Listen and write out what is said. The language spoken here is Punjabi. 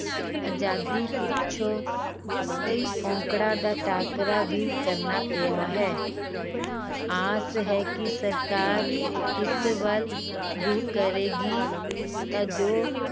ਆਜ਼ਾਦੀ ਪਿੱਛੋਂ ਕਈ ਔਂਕੜਾਂ ਦਾ ਟਾਕਰਾ ਵੀ ਕਰਨਾ ਪਿਆ ਹੈ ਆਸ ਹੈ ਕਿ ਸਰਕਾਰ ਇਸ ਵੱਲ ਗਹੁ ਕਰੇਗੀ ਤਾਂ ਜੋ